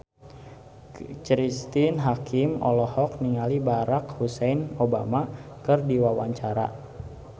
Cristine Hakim olohok ningali Barack Hussein Obama keur diwawancara